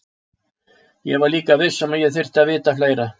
Ég var líka viss um að ég þyrfti að vita fleira.